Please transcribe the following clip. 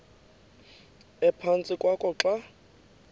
ephantsi kwakho xa